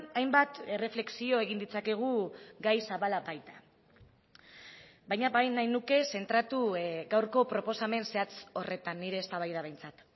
hainbat erreflexio egin ditzakegu gai zabala baita baina bai nahi nuke zentratu gaurko proposamen zehatz horretan nire eztabaida behintzat